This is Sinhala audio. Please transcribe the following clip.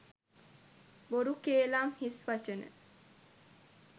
බොරු කේළාම් හිස්වචන,